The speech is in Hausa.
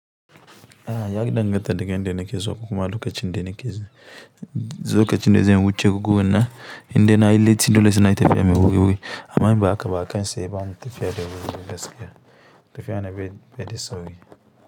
A'a, ya danganta da ga inda na ke zuwa ko kuma lokacin da na ke zuwa. Lokacin da zai wuce guguwa na indai na yi latti dole sai na yi tafiya mai wuri wuri. Amma in ba haka ba a kan saye ba mu tafiya da wuri wuri gaskiya, tafiya na baid- bai da sauri.